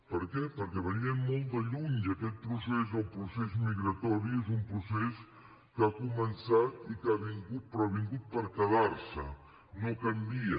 per què perquè venien de molt lluny i aquest procés el procés migratori és un procés que ha començat i que ha vingut però ha vingut per quedar se no canvia